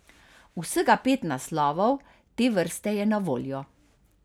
Vsega pet naslovov te vrste je na voljo.